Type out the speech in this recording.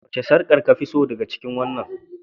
Wace sarƙar kafi so daga cikin waɗannan?